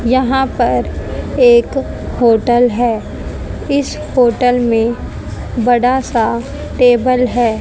यहां पर एक होटल है इस होटल में बड़ा सा टेबल है।